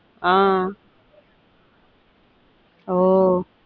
ஆஹ் ஒ ஆஹ்